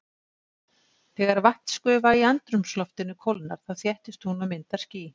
Þegar vatnsgufa í andrúmsloftinu kólnar þá þéttist hún og myndar ský.